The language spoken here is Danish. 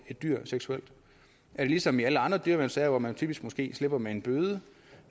dyr seksuelt er det ligesom i alle andre dyreværnssager hvor man typisk måske slipper med en bøde